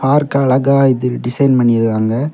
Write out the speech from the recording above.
பார்க்க அழகா இது டிசைன் பண்ணிருக்காங்க.